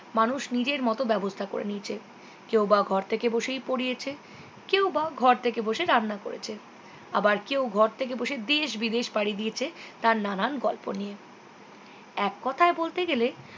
মানুষ নিজের মতো ব্যবস্থা করে নিয়েছে কেউ বা ঘর থেকে বসেই পড়িয়েছে কেউ বা ঘর থেকে বসে রান্না করেছে আবার কেউ ঘর থেকে বসে দেশ বিদেশ পাড়ি দিয়েছে তার নানান গল্প নিয়ে এককথায় বলতে গেলে